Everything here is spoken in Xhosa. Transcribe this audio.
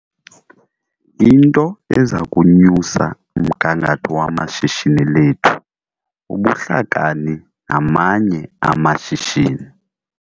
Into eza kunyusa umgangatho wamashishini lethu bubuhlakani namanye amashishini.